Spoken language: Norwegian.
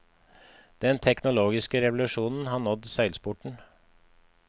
Den teknologiske revolusjonen har nådd seilsporten.